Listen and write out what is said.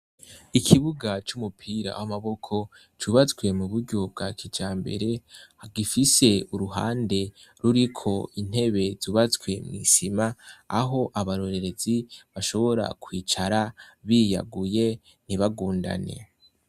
Ikibuga c'umupira w'amaboko cubatswe mu buryo bwa kijambere. Gifise uruhande ruriko intebe zubatswe mw'isima, aho abarorerezi bashobora kwicara biyaguye ntibagundane.